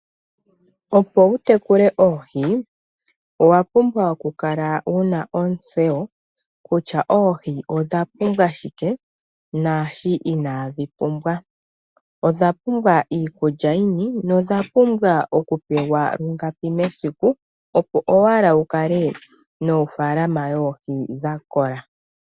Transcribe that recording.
Opo wu tekule oohi owa pumbwa okukala wuna ontseyo kutya oohi odha pumbwa shike naasho inadhi pumbwa odha pumbwa iikulya yini nodha pumbwa okupewa lungapi mesiku opo owala wu kale nofaalama yoohi dha kola.